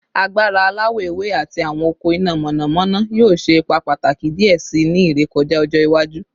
Agbara alawọ ewe ati awọn ọkọ ina mọnamọna yoo ṣe ipa pataki diẹ sii ni irekọja ọjọ iwaju